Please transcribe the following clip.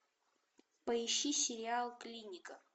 поищи сериал клиника